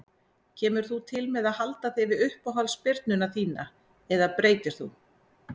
Kemur þú til með að halda þig við uppáhalds spyrnuna þína eða breytir þú?